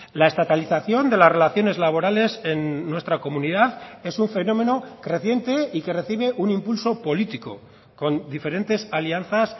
la estatalización de las relaciones laborales en nuestra comunidad es un fenómeno creciente y que recibe un impulso político con diferentes alianzas